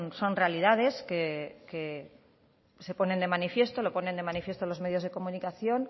son realidades que se ponen de manifiesto lo ponen de manifiesto los medios de comunicación